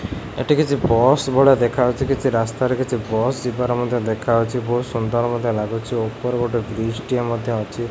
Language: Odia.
ଏଠି କିଛି ବସ୍ ଭଳିଆ ଦେଖାଯାଉଚି କିଛି ରାସ୍ତାରେ କିଛି ବସ୍ ଯିବାର ମଧ୍ୟ ଦେଖାଯାଉଚି ବହୁତ୍ ସୁନ୍ଦର ମଧ୍ୟ ଲାଗୁଚି ଉପରେ ଗୋଟେ ବ୍ରିଜ ଟିଏ ମଧ୍ୟ ଅଛି।